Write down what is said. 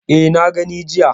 E, na gani jiya.